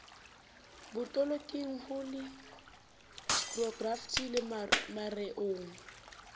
botoloking ho leksikhokrafi le mareong